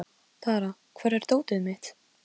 Með öðrum orðum, maður sem ástæða er til að óttast.